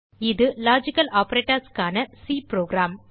இது லாஜிக்கல் operatorsக்கான C program